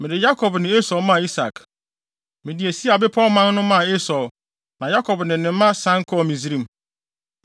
Mede Yakob ne Esau maa Isak. Mede Seir bepɔwman no maa Esau, na Yakob ne ne mma sian kɔɔ Misraim.